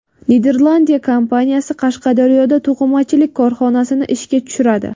Niderlandiya kompaniyasi Qashqadaryoda to‘qimachilik korxonasini ishga tushiradi.